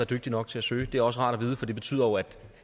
dygtige nok til at søge det er også rart at vide for det betyder jo